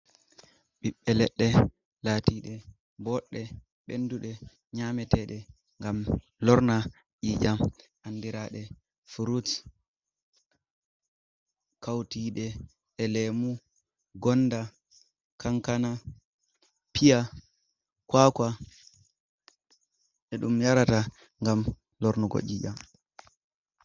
Ɓiɓbe leɗɗe latiɗe boɗɗe bendude nyametede ngam lorna ƴiyam andirade fruts, kauti ɗe e lemu, gonda, kankana, piya, kwakua e ɗum yarata ngam lornugo ƴiƴam.